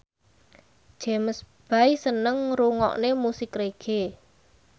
James Bay seneng ngrungokne musik reggae